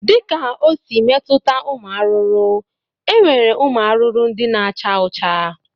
Dịka o si metuta ụmụ arụrụ, e nwere ụmụ arụrụ ndị na-acha ọcha